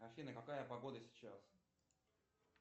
афина какая погода сейчас